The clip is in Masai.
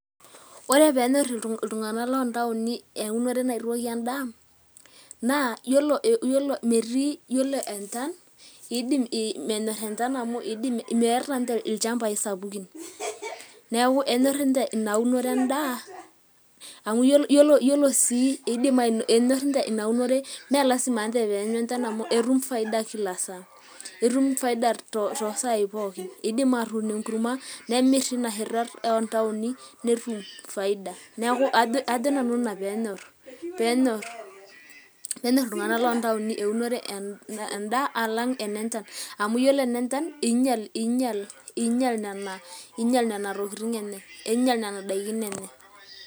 Ore pee enyorr iltung'anak loontaoni eunore naitooki endaa naa yiolo enchan iidim ataa menyorr enchan amu meeta ilchmabai sapukin, neeku enyorr ninche ina unore endaa, mee lazima ninche pee eenyu enchan amu etum faida kila saa, etum faida too saai pookin , iidim aatuun enkurma nemirr tina sheto oo ntaoni netum faida ajo nanu ina pee enyorr iltung'anak loontaoni enda alang' ene nchan amu ore enenchan iinyal nena tokitin enye, iinyial nena daikin enye.